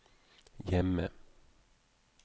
hjemme